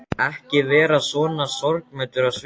Ekki vera svona sorgmæddur á svipinn.